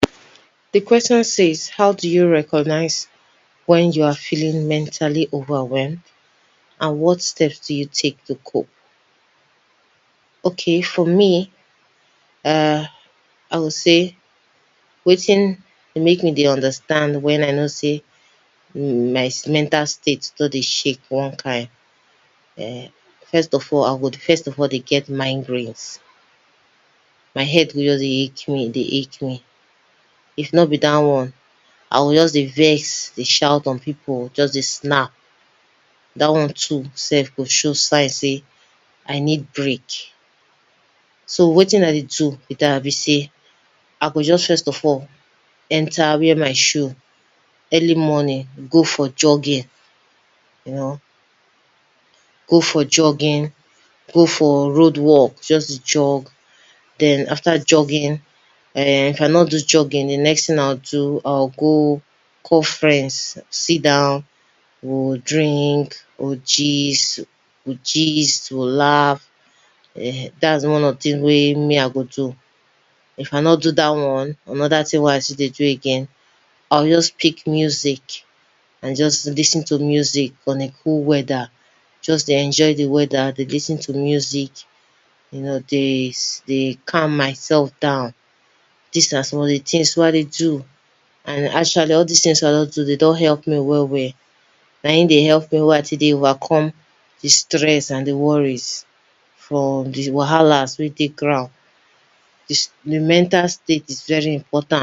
Di questions says, can you share a time wen taking care of your mental wellbeing positively imparted oda areas of yo ur life? Yes I go say I fit remember time wey I don take care of my mental state, as I take care of am, my life, some areas of my life come better, come improve. Last month my mental state just scatter based on di fact sey I get plenty things wey I dey deal with, couple with work come join, I nor know wetin to do I don dey get headache, I don de get migraines I don dey snap over every little thing don dey make me vex. Wetin I do be sey, I just take out time go for morning jogging, I go call friends sit down, follow dem gist laugh just to do out things, not just dat one sef ma, me sef come even don even take out time, come sit down play game, all dis one na just to take care of my mental state make I nor for breakdown. As I do am finish recover, I notice sey my work, my input for work come increase, I come dey do well for my activities for office, I come even perform my task so well, so tey my boss come even give me di employee of di month. So anytime I dey stressed like dat I dey like take care of my mental state, because if I take care of my mental state, I go no tice sey my my life dey improve. Some areas in my life dey change, I go perform better, work harder, my result wey I dey give dey always dey come out, more productivity productive. Dis na things wey I dey do make ne dey grow, wey dey make me dey stay positive, make me wey dey make me dey enlarge for very other area of my life, na because sey I dey always dey check my mental state and make sure sey I dey always dey put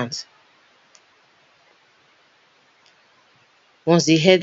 am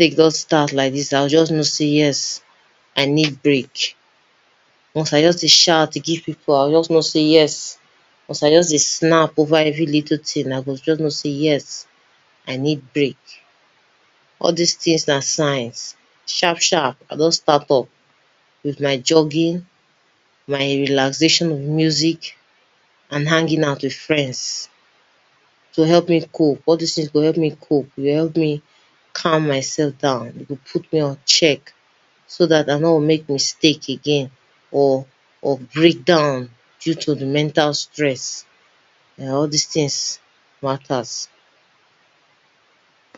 in perspective.